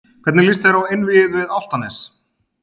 Hvernig lýst þér á einvígið við Álftanes?